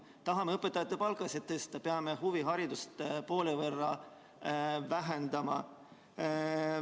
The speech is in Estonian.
Kui tahame tõsta õpetajate palka, siis peame huviharidust poole võrra vähendama.